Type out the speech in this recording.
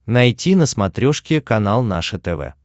найти на смотрешке канал наше тв